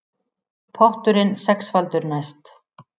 Potturinn sexfaldur næst